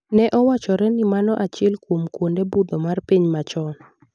Ne owachore ni mano achiel kuom kwonde budho mar piny machon.